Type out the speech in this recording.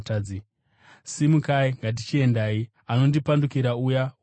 Simukai, ngatichiendai! Anondipandukira uya ouya!”